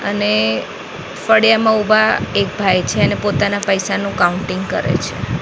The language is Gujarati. અને ફળિયામાં ઊભા એક ભાઈ છે અને પોતાના પૈસાનું કાઉન્ટિંગ કરે છે.